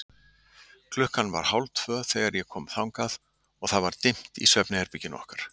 Klukkan var hálftvö þegar ég kom þangað og það var dimmt í svefnherberginu okkar.